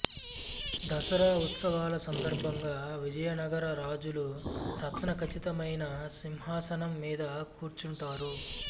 దసరా ఉత్సవాల సందర్భంగా విజయనగర రాజులు రత్న ఖచితమైన సింహాసనం మీద కూర్చుంటారు